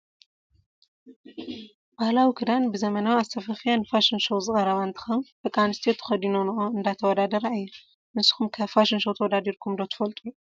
ባህላዊ ክዳን ብዘመናዊ ኣሰፋፍያ ንፋሽን ሾው ዝቀረበ እንትከውን ደቂ አንስትዮ ተከዲነኖኦ እንዳተወዳደራ እየን። ንስኩም ከ ፋሽን ሾው ተወዳዲርኩም ትፈልጡ ዶ ?